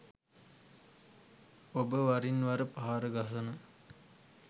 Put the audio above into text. ඔබ වරින් වර පහර ගසන